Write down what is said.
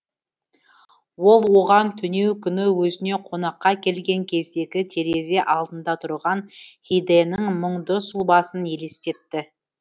ол оған түнеу күні өзіне қонаққа келген кездегі терезе алдында тұрған хидэнің мұңды сұлбасын елестетті